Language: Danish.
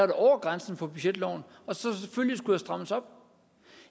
det over grænsen for budgetloven og selvfølgelig skulle der strammes op